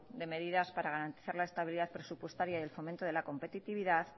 de medidas para garantizar la estabilidad presupuestaria y el fomento de la competitividad